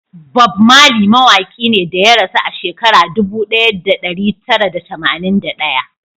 Bob Marley mawaki ne da ya rasu a shekara dubu daya da dari tara da tamanin da daya